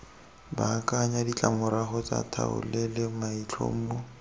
baakanya ditlamorago tsa tlhaolele maitlhomo